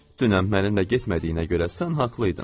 Dünən mənimlə getmədiyinə görə sən haqlı idin.